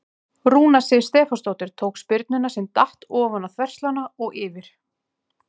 Rúna Sif Stefánsdóttir tók spyrnuna sem datt ofan á þverslánna og yfir.